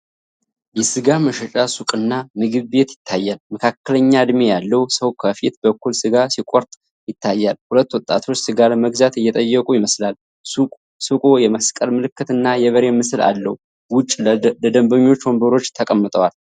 የሥጋ መሸጫ ሱቅና ምግብ ቤት ይታያል። መካከለኛ እድሜ ያለው ሰው ከፊት በኩል ስጋ ሲቆራርጥ ይታያል። ሁለት ወጣቶች ስጋ ለመግዛት እየጠበቁ ይመስላል። ሱቁ የመስቀል ምልክት እና የበሬ ምስል አለው። ውጭ ለደንበኞች ወንበሮች ተቀምጠዋል።